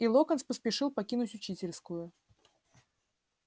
и локонс поспешил покинуть учительскую